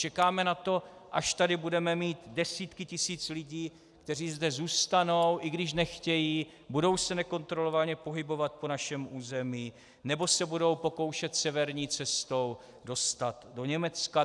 Čekáme na to, až tady budeme mít desítky tisíc lidí, kteří zde zůstanou, i když nechtějí, budou se nekontrolovaně pohybovat po našem území nebo se budou pokoušet severní cestou dostat do Německa?